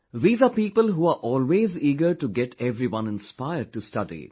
These are people who are always eager to get everyone inspired to study